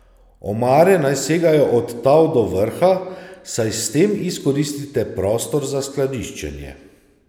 Omare naj segajo od tal do vrha, saj s tem izkoristite prostor za skladiščenje.